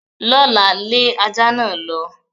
L'ọ́la, lé ajá náà lọ.